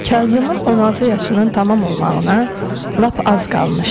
Kazımın 16 yaşının tamam olmağına lap az qalmışdı.